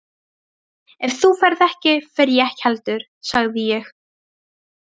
Ef þú ferð ekki, fer ég ekki heldur sagði ég.